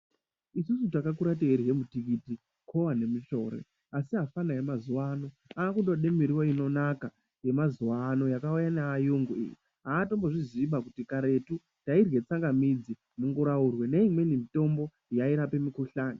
Isusu takakura teirye mutikiti, kuva nemushore. Asi afanha emazuva ano akutode muriwo inonaka yamazuva ano yakauya neayungu iyi. Haatombo zviziiba kuti karetu tairye tsangamidzi ,munguraurwe neimweni mitombo yairape mukuhlani.